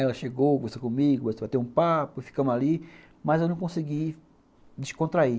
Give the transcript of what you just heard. Ela chegou, gostou comigo, gostou de bater um papo, ficamos ali, mas eu não consegui descontrair.